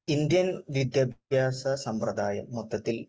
Indian വിദ്യാഭ്യാസ സമ്പ്രദായം മൊത്തത്തിൽ